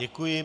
Děkuji.